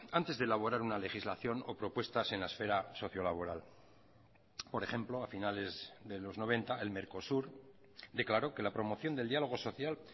antes de elaborar una legislación o propuestas en la esfera sociolaboral por ejemplo a finales de los noventa el mercosur declaró que la promoción del diálogo social